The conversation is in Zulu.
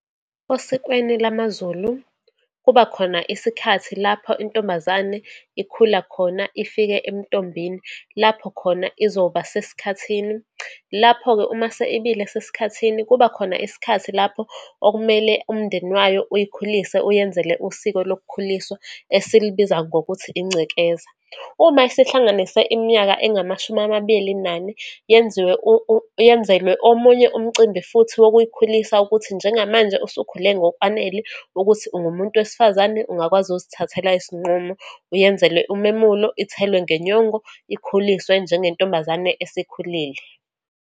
Osikweni lamaZulu, kuba khona isikhathi lapho intombazane ikhula khona, ifike ebuntombini, lapho khona izoba sesikhathini. Lapho-ke uma isibile esikhathini, kubakhona isikhathi lapho okumele umndeni wayo uyikhulise, uyenzele usiko lokukhuliswa, esilubiza ngokuthi incikeza. Uma isihlanganise iminyaka engamashumi amabili nane, yenziwe yenzelwe omunye umcimbi futhi wokuyikhulisa, ukuthi njengamanje usukhule ngokwanele, ukuthi ungumuntu wesifazane, ungakwazi ukuzithathela izinqumo, uyenzele umemulo, ithelwe ngenyongo, ikhuliswe njengentombazane esikhulile.